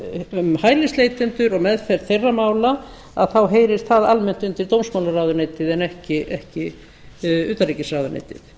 um hælisleitendur og meðferð þeirra mála þá heyrir það almennt undir dómsmálaráðuneytið en ekki utanríkisráðuneytið